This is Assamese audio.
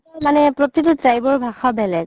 মানে প্ৰতিতো tribe ৰ ভাষা বেলেগ